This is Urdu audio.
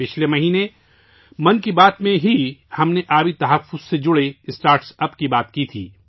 پچھلے مہینے 'من کی بات' میں، ہم نے پانی کے تحفظ سے متعلق اسٹارٹ اپس کے بارے میں بات کی تھی